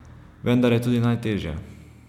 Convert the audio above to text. Vendar je tudi najtežja.